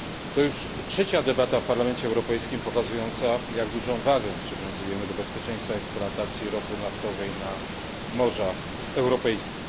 To już trzecia debata w Parlamencie Europejskim pokazująca, jak dużą wagę przywiązujemy do bezpieczeństwa eksploatacji ropy naftowej na morzach europejskich.